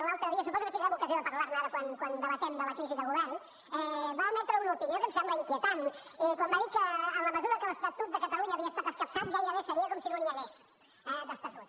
l’altre dia suposo que tindrem ocasió de parlar ne ara quan debatem sobre la crisi de govern va emetre una opinió que em sembla inquietant quan va dir que en la mesura que l’estatut de catalunya havia estat escapçat gairebé seria com si no n’hi hagués d’estatut